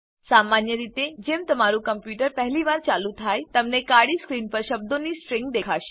સામાન્ય રીતે જેમ તમારું કમ્પ્યુટર પહેલી વાર ચાલુ થાય તમને કાળી સ્ક્રીન પર શબ્દોની સ્ટ્રીંગ દેખાશે